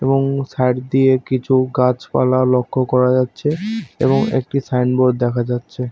এবং সাইড দিয়ে কিছু গাছপালা লক্ষ্য করা যাচ্ছে এবং একটি সাইন বোর্ড দেখা যাচ্ছে।